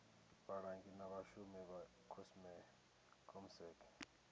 vhalangi na vhashumi vha comsec